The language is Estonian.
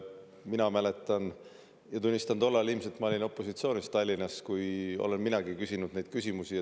Mina mäletan – ja tunnistan, et tollal ilmselt ma olin opositsioonis Tallinna –, et olen minagi küsinud neid küsimusi.